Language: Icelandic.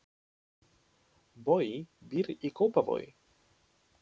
Bogi býr í Kópavogi.